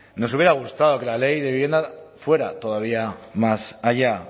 nos hubiera gustado que la ley de vivienda fuera todavía más allá